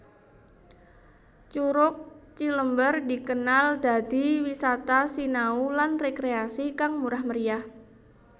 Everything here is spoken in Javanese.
Curug Cilember dikenal dadi wisata sinau lan rekreasi kang murah meriah